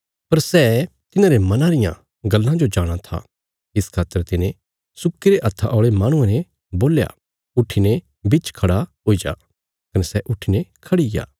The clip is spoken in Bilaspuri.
पर सै तिन्हारे मना रियां गल्लां जो जाणा था इस खातर तिने सुक्कीरे हत्था औल़े माहणुये ने बोल्या उट्ठीने बिच खड़ा हुई जा कने सै उट्ठीने खड़ीग्या